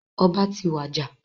Ọba ti wàjà.